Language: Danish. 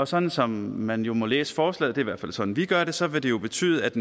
sådan som man jo må læse forslaget i hvert fald sådan vi gør det så vil det jo betyde at